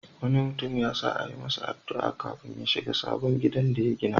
Wani mutum ya sa a yi masa addu'a kafin ya shiga sabon gidan da ya gina.